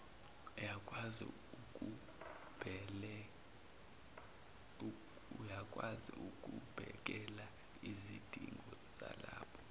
yakwazi ukubhekelaizidingo zalabo